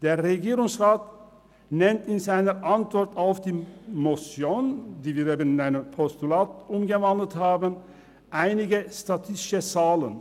Der Regierungsrat nennt in seiner Antwort auf die Motion, die wir in ein Postulat umgewandelt haben, einige statistische Zahlen.